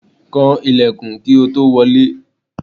Kan ilẹ̀kùn kí o tó wọlé!